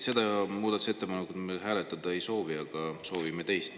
Seda muudatusettepanekut me hääletada ei soovi, aga soovime teist.